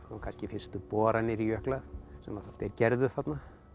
kannski fyrstu boranir í jökla sem þeir gerðu þarna